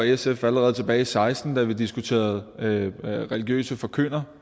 sf allerede tilbage i seksten da vi diskuterede religiøse forkyndere